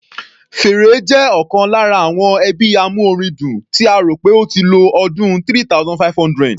Fèrè jẹ́ ọ̀kan lára àwọn ẹbí amúorin dùn, tí a rò pé ó ti lo ọdún 3500.